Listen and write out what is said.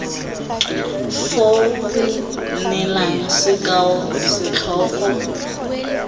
foo go neela sekao setlhogo